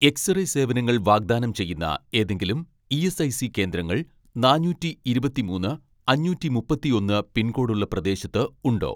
X-ray സേവനങ്ങൾ വാഗ്ദാനം ചെയ്യുന്ന ഏതെങ്കിലും ഇ.എസ്.ഐ.സി കേന്ദ്രങ്ങൾ നാനൂറ്റിഇരുപത്തിമൂന്ന് അഞ്ഞൂറ്റിമുപ്പത്തിയൊന്ന് പിൻകോഡ് ഉള്ള പ്രദേശത്ത് ഉണ്ടോ.